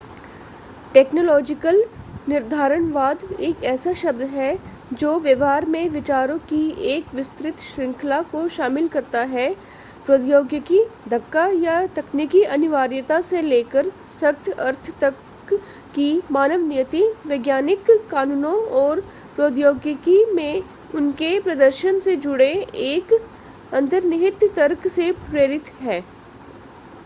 technological निर्धारणवाद एक ऐसा शब्द है जो व्यवहार में विचारों की एक विस्तृत श्रृंखला को शामिल करता है प्रौद्योगिकी-धक्का या तकनीकी अनिवार्यता से लेकर सख्त अर्थ तक कि मानव नियति वैज्ञानिक कानूनों और प्रौद्योगिकी में उनके प्रदर्शन से जुड़े एक अंतर्निहित तर्क से प्रेरित है